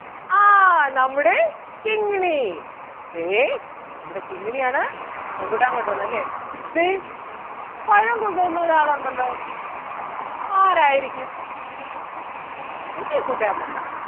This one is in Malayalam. ആ നമ്മുടെ കിങ്ങിണി ദേ നമ്മുടെ കിങ്ങിണിയാണ് റംബൂട്ടാൻ കൊണ്ടുവന്നതല്ലേ? ദേ പഴം കൊണ്ടുവന്ന ഒരാളൊണ്ടല്ലോ ആരാരിക്കും പുതിയ കൂട്ടുകാരൻ അല്ല.